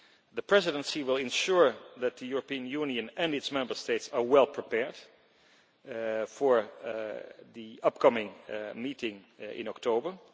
The Presidency will ensure that the European Union and its Member States are well prepared for the upcoming meeting in October.